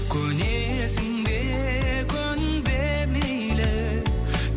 көнесің бе көнбе мейлі